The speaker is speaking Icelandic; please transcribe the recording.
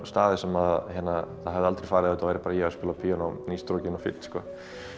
staði sem það hefði aldrei farið ef þetta væri bara ég að spila á píanó ný strokinn og fínn sko